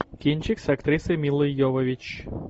кинчик с актрисой милой йовович